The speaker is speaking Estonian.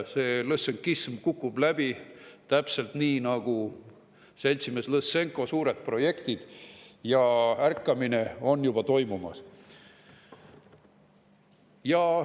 See lõssenkism kukub läbi, täpselt nii nagu seltsimees Lõssenko suured projektid, ja ärkamine on juba toimumas.